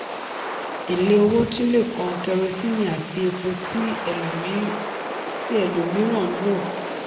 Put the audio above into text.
èlé owó tun le kan kerosíìnì àti epo tí ẹlòmíràn ń lò.